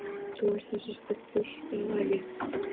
Þú ert þessi Stubbur, er það ekki?